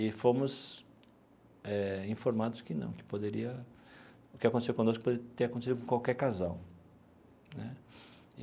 E fomos informados eh que não, que poderia, o que aconteceu conosco, poderia ter acontecido com qualquer casal né.